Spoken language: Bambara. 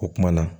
O kumana